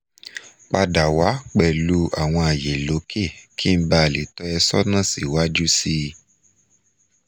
pada wa pẹlu awọn alaye loke ki n bale to e sona si waju si